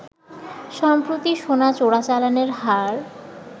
সম্প্রতি সোনা চোরাচালানের হার